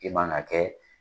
I man ga kɛ